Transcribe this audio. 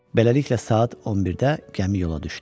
Beləliklə, saat 11-də gəmi yola düşdü.